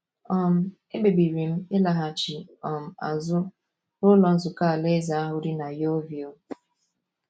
um Ekpebiri m ịlaghachi um azụ n’Ụlọ Nzukọ Alaeze ahụ dị na Yeovil.